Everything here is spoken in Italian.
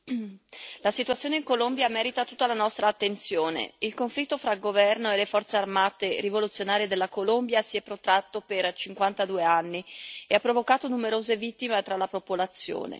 Signor Presidente, onorevoli colleghi, la situazione in Colombia merita tutta la nostra attenzione. Il conflitto tra il governo e le Forze armate rivoluzionarie della Colombia si è protratto per 52 anni e ha provocato numerose vittime tra la popolazione.